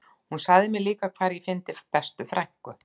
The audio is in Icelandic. Hún sagði mér líka hvar ég fyndi bestu frænku